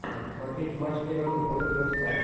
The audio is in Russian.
смотреть матч эвертон против вест хэм